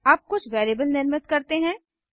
अब कुछ वैरिएबल निर्मित करते हैं